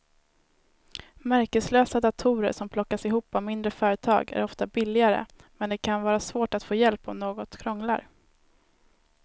Märkeslösa datorer som plockas ihop av mindre företag är ofta billigare men det kan vara svårt att få hjälp om något krånglar.